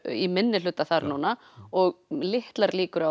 í minnihluta núna og litlar líkur á